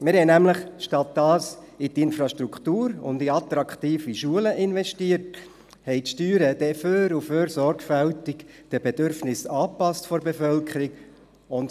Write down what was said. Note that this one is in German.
Wir haben nämlich stattdessen in die Infrastruktur und in attraktive Schulen investiert, haben die Steuern dann nach und nach sorgfältig den Bedürfnissen der Bevölkerung angepasst.